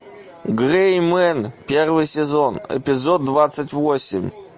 грэй мен первый сезон эпизод двадцать восемь